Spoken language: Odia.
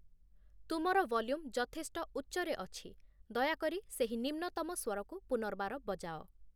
ତୁମର ଭଲ୍ୟୁମ୍ ଯଥେଷ୍ଟ ଉଚ୍ଚରେ ଅଛି, ଦୟା କରି ସେହି ନିମ୍ନତମ ସ୍ୱରକୁ ପୁନର୍ବାର ବଜାଅ